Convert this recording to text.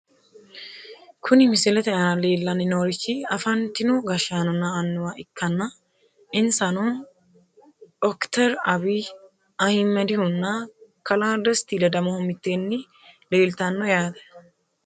Kuni misilete aana leellanni noorichi afantino gashshaanonna annuwa ikkitanna insano, okiteri abiy ahimedihunna kalaa desti ledamohu mitteenni leeltanno yaate ,